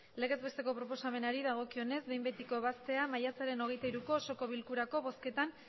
legez besteko proposamenari dagokionez behin betiko ebaztea maiatzaren hogeita hiruko osoko bilkurako bozketan